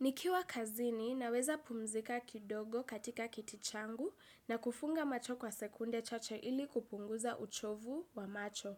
Nikiwa kazini, naweza pumzika kidogo katika kiti changu na kufunga macho kwa sekunde chache ili kupunguza uchovu wa macho.